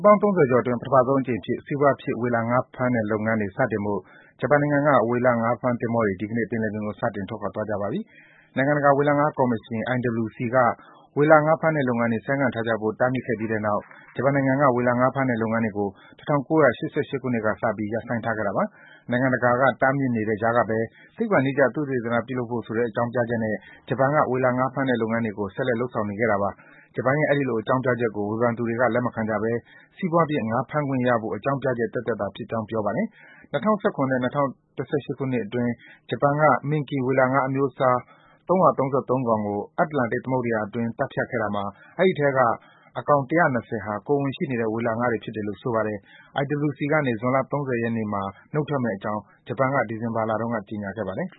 ပေါင်း ၃၀ ကျော်အတွင်း ပထမဆုံးအကြိမ်အဖြစ် စီးပွားဖြစ် ဝေလငါးဖမ်းတဲ့လုပ်ငန်းတွေ စတင်ဖို့ ဂျပန်နိုင်ငံက ဝေလငါးဖမ်းသင်္ဘောတွေဟာ ဒီကနေ့ ပင်လယ်ပြင်ကို စတင် ထွက်ခွာသွားကြပါပြီ။ နိုင်ငံတကာဝေလငါးကော်မရှင် IWC က ဝေလငါးဖမ်းတဲ့ လုပ်ငန်းတွေ ဆိုင်းငံ့ထားကြဖို့ တားမြစ်ခဲ့ ပြီးတဲ့နောက် ဂျပန်နိုင်ငံက ဝေလငါးဖမ်းတဲ့ လုပ်ငန်းတွေကို ၁၉၈၈ ခုနှစ်ကစပြီး ရပ်ဆိုင်းထားခဲ့တာပါ။ နိုင်ငံတကာက တားမြစ်နေတဲ့ကြားဘဲ သိပ္ပံနည်းကျ သုတေသနပြုလုပ်ဖို့ဆိုတဲ့ အကြောင်းပြချက်နဲ့ ဂျပန်က ဝေလငါးဖမ်းတဲ့ လုပ်ငန်းတွေကို ဆက်လက် လုပ်ဆောင်နေခဲ့တာပါ။ ဂျပန်ရဲ့ အဲဒီလို အကြောင်းပြချက်ကို ဝေဖန်သူတွေက လက်မခံကြဘဲ စီးပွားဖြစ် ငါးဖမ်းခွင့်ရဖို့ အကြောင်းပြချက် သက်သက်သာဖြစ်ကြောင်း ပြောပါတယ်။ ၂၀၁၇ နဲ့ ၂၀၁၈ ခုနှစ်အတွင်း ဂျပန်က minke ဝေလငါးအမျိုးအစား ၃၃၃ ကောင်ကို အတ္တလန်တိတ်သမုဒ္ဒယာအတွင်း သတ်ဖြတ်ခဲ့တာမှာ အဲဒီအထဲက ၁၂၀ ဟာ ကိုယ်ဝန်ရှိနေတဲ့ ဝေလငါးတွေဖြစ်တယ်လို့ ဆိုပါတယ်။ IWC ကနေ ဇွန်လ ၃၀ ရက်နေ့မှာ နုတ်ထွက်မယ့်အကြောင်း ဂျပန်က ဒီဇင်ဘာလမှာ ကြေညာခဲ့ပါတယ်